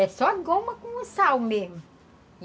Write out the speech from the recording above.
É só goma com sal mesmo.